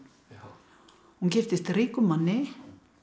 hún giftist ríkum manni